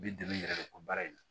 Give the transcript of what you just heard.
I bi dɛmɛ i yɛrɛ de ka baara in na